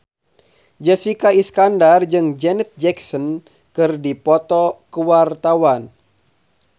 Jessica Iskandar jeung Janet Jackson keur dipoto ku wartawan